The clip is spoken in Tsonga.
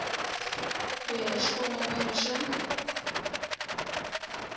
ku ya hi xikongomelo xa